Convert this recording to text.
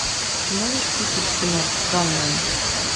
ты можешь включить кино ганмен